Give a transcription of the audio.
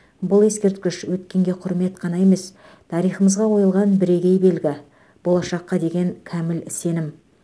бұл ескерткіш өткенге құрмет қана емес тарихымызға қойылған бірегей белгі болашаққа деген кәміл сенім